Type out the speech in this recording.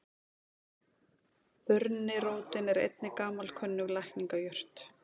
Burnirótin er einnig gamalkunnug lækningajurt.